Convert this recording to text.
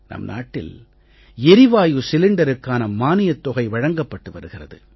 நம் நாட்டில் எரிவாயு சிலிண்டருக்கான மானியத் தொகை வழங்கப்பட்டு வருகிறது